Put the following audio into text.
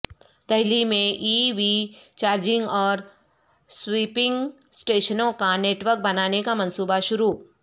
دہلی میں E V charging اور swapping اسٹیشنوں کا نیٹ ورک بنانے کا منصوبہ شروع